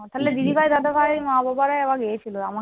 তাহলে দিদিভাই, দাদাভাই, মা, বাবারা এবারে গেছিল